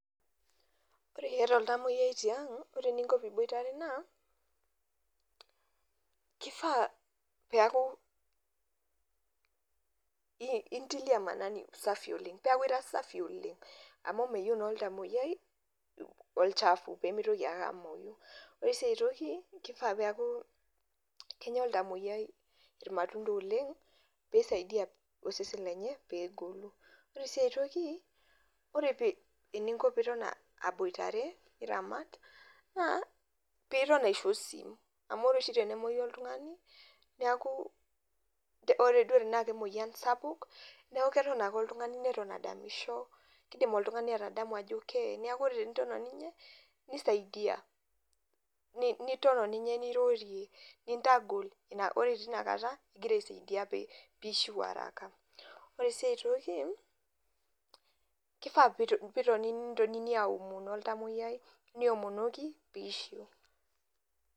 Ore iata oltamuoyiai ting' ore eninko teniboitare naa kifaa pee eku intilia maanani usafi oleng' peeku ira safi oleng' amu meyieu naa oltamuoyiai olchafu pee mitoki ake amuoyu ore sii ai toiki kifaa pee eeku kenya oltamuoyiai irmatunda oleng' pee isaidia osesen lenye pee egolu, ore sii ai toki ore eninko teniton aboitare aramat naa piiton aisho osim amu ore oshi tenemuoyu oltung'ani neeku ore duo tenaa kemuoyian sapuk neeku keton ake oltung'ani neton adamisho kiidim oltung'ani atadamu ajo keye neeku ore teniton oninye nisaidia niton oninye nirorie nintagol ore tina kata nigira aisaidia pee iishiu araka ore sii ai toki kifaa pee itonini aomon oltamuoyiai niomonoki pee iishiu.